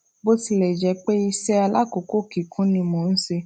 bó tilè jé pé iṣé alákòókò kíkún ni mò ń ṣe